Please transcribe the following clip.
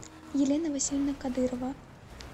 елена васильевна кадырова